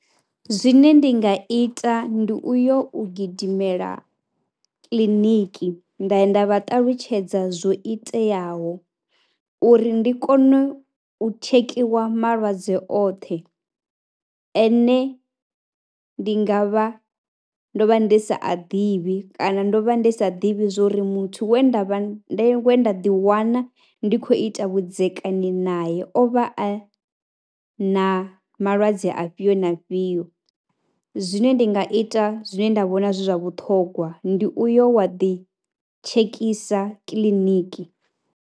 Zwine ndi nga ita ndi u yo u gidimela kiḽiniki nda ya nda vha ṱalutshedza zwo iteaho uri ndi kone u tshekhiwa malwadze oṱhe ene ndi nga vha ndo vha ndi sa a ḓivhi kana ndo vha ndi sa ḓivhi zwo ri muthu we nda vha, we nda ḓiwana ndi khou ita vhudzekani naye o vha a na malwadze afhio na afhio, zwine ndi nga ita zwine nda vhona zwi zwa vhuṱhogwa ndi uyo wa ḓitshekisa kiḽiniki.